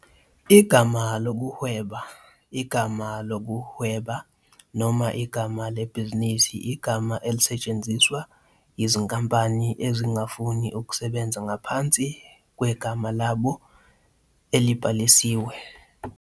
Igama lokuhweba, igama lokuhweba, noma igama lebhizinisi igama elisetshenziswa yizinkampani ezingafuni ukusebenza ngaphansi kwegama labo elibhalisiwe.